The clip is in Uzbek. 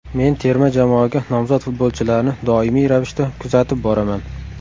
Men terma jamoaga nomzod futbolchilarni doimiy ravishda kuzatib boraman.